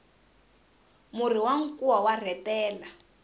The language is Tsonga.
murhi wa nkuwa wa rhetela